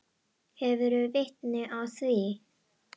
Hefurðu vitni að því?